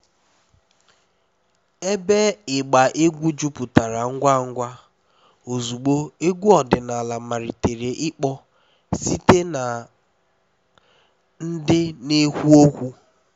ebe ịgba egwu jupụtara ngwa ngwa ozugbo egwu ọdịnala malitere ịkpọ site na ndị na-ekwu okwu